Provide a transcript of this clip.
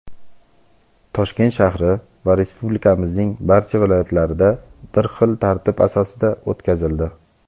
Toshkent shahri va Respublikamizning barcha viloyatlarida bir xil tartib asosida o‘tkazildi.